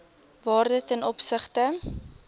waarde ten opsigte